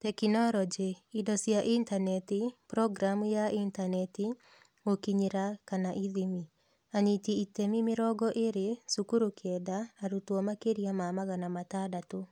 Tekinoronjĩ: Indo cia Intaneti, Programu ya intaneti, Gũkinyĩra / ithimi: anyiti itemi mĩrongo ĩĩrĩ, cukuru kenda, arutwo makĩria ma magana matandatũ.